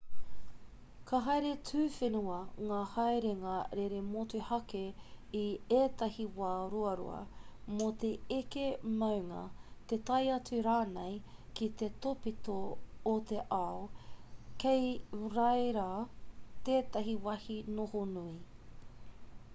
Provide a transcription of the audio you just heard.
ka haere tuawhenua ngā haerenga rere motuhake i ētahi wā ruarua mō te eke maunga te tae atu rānei ki te tōpito o te ao kei reira tētahi wāhi noho nui